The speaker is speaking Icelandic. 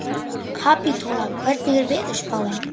Kapítóla, hvernig er veðurspáin?